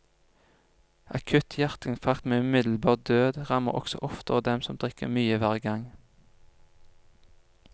Akutt hjerteinfarkt med umiddelbar død rammer også oftere dem som drikker mye hver gang.